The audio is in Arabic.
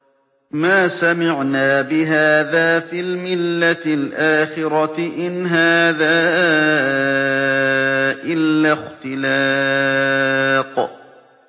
مَا سَمِعْنَا بِهَٰذَا فِي الْمِلَّةِ الْآخِرَةِ إِنْ هَٰذَا إِلَّا اخْتِلَاقٌ